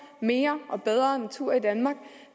mere og bedre natur i danmark